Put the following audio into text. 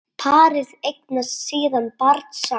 Parið eignast síðan barn saman.